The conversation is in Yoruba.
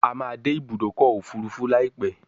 A má dé Ibùdókọ̀ òfurufú laipe